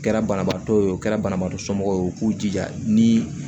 O kɛra banabaatɔ ye o kɛra banabaatɔ somɔgɔw ye u k'u jija ni